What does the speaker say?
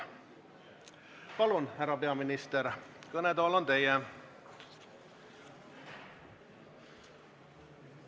Palun, härra peaminister, kõnetool on teie!